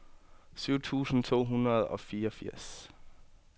syv tusind to hundrede og fireogfirs